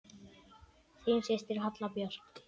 Þín systir, Halla Björk.